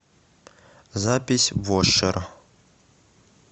запись вошер